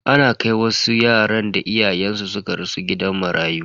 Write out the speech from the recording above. Ana kai wasu yaran da iyayensu suka rasu gidan marayu.